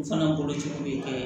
U fana boloci ko ye